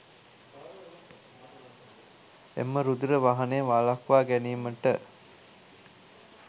එම රුධිර වහනය වළක්වා ගැනීමට